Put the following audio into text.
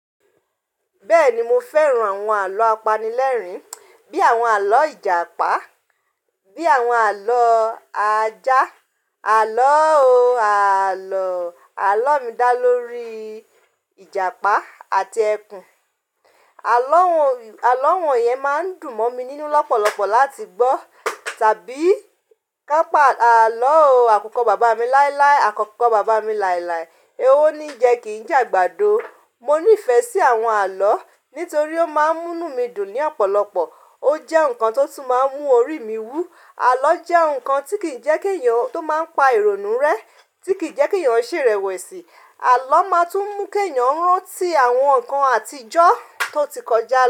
Bẹ́ẹ̀ni mo fẹ́ran àwọn àlọ́ apanilẹ́rìn bí àwọn àlọ́ Ìjàpá, bí àwọn àlọ́ ajá, àlọ́ o àlọ́, àlọ́ mi dá lórí Ìjàpá àti ẹkùn. Àlọ́ wọn yẹn máa ń dùn mọ́ mi nínú lọ́pọ̀lọpọ̀ láti gbọ́ tàbí kápa àlọ́ àkukọ́ bàbá mi láíláí, àkukọ́ bàbá mi làìlàì, owó ni ń jẹ kì ń jàgbàdo. Mo ní ìfẹ́ sí àwọn àlọ́ nítorí ó máa ń mú mí dùn ní ọ̀pọ̀lọpọ̀, ó jẹ́ ǹkan tó tún máa ń mú orí mi wú. Àlọ́ jẹ́ ǹkan tí kì ń jẹ́ kí èèyàn tó máa ń pa ìrònú rẹ́, tí kì ń jẹ́ kí èèyàn ṣèrèwẹ̀sì. Àlọ́ máa tún mú kí èèyàn rántí àwọn ǹkan àtijọ́ tó ti kọjá.